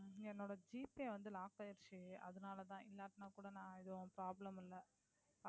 என்னோட GPay Lock ஆகிடுச்சு. அதனாலதான் இல்லாட்டினா கூட நான் ஏதும் Problem யில்லை.